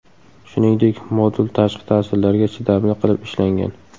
Shuningdek, modul tashqi ta’sirlarga chidamli qilib ishlangan.